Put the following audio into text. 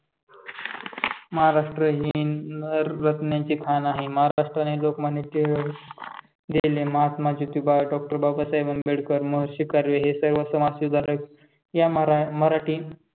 महाराष्ट्र ही नररत्नांची खाण आहे. महाराष्ट्र आणि लोकमान्य टिळक, लेले, महात्मा ज्योतिबा, डॉक्टर बाबासाहेब आंबेडकर, महर्षी कर्वे हे सर्व समाज सुधारक या मरा मराठी